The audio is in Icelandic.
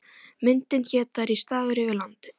Myndin hét Það rís dagur yfir landið.